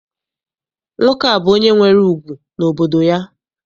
Nwoke a bụ onye nwere ùgwù n'obodo ya.